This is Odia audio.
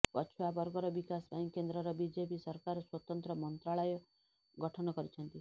ପଛୁଆ ବର୍ଗର ବିକାଶ ପାଇଁ କେନ୍ଦ୍ରର ବିଜେପି ସରକାର ସ୍ବତନ୍ତ୍ର ମନ୍ତ୍ରଣାଳୟ ଗଠନ କରିଛନ୍ତି